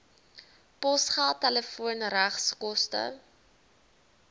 posgeld telefoon regskoste